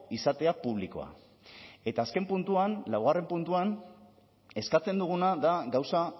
izatea publikoa eta azken puntuan laugarren puntuan eskatzen duguna da gauza